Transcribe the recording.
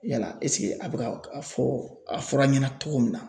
Yala a bɛ ka a fɔ a fɔra ɲɛna cogo min na.